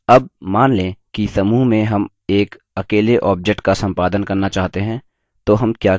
अब मान लें कि समूह में हम एक अकेले object का सम्पादन करना चाहते हैं तो हम क्या करेंगे